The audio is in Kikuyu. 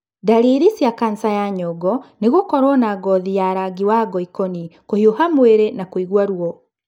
Ndariri cia kanca ya nyongo nĩ gũkorũo na ngothi ya rangi wa ngoĩkoni, kũhiũha mwĩrĩ na kũigua ruo.